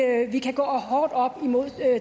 at vi kan gå hårdt op imod